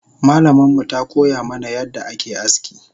Malamanmu takoya mana yadda ake aski